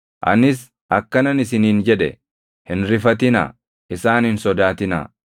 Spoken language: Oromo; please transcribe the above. Anis akkanan isiniin jedhe; “Hin rifatinaa; isaan hin sodaatinaa.